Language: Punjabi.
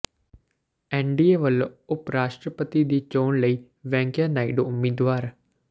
ਐਨਡੀਏ ਵੱਲੋਂ ਉਪ ਰਾਸ਼ਟਰਪਤੀ ਦੀ ਚੋਣ ਲਈ ਵੈਂਕਈਆ ਨਾਇਡੂ ਉਮੀਦਵਾਰ